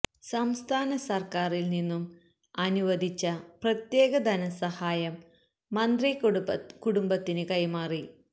സംസ്ഥാന സര്ക്കാറില് നിന്നും അനുവധിച്ച പ്രത്യേക ധനസഹായം മന്ത്രി കുടുംബത്തിന് കൈമാറി